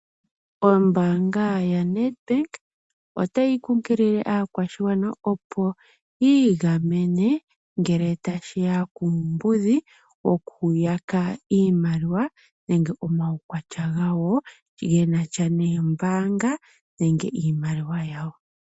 Ombanga ya Nedbank otayi kukilile akwashingwana opo yingamene ngele tashiya kuumbudhi wokuyaka iimaliwa nenge omawukwatya ngawo ngenasha neembanga nenge niimaliwa yawo.